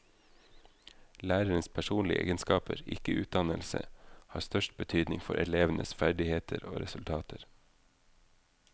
Lærerens personlige egenskaper, ikke utdannelse, har størst betydning for elevenes ferdigheter og resultater.